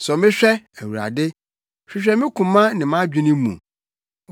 Sɔ me hwɛ, Awurade, hwehwɛ me koma ne mʼadwene mu.